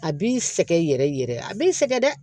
A b'i sɛgɛn yɛrɛ yɛrɛ a b'i sɛgɛn dɛ